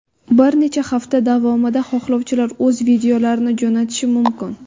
Bir necha hafta davomida xohlovchilar o‘z videolarini jo‘natishi mumkin.